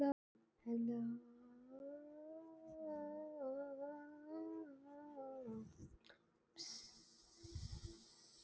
Hvað segi ég við því?